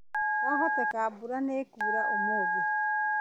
Kwahoteka mbura nĩĩkuura ũmũthĩ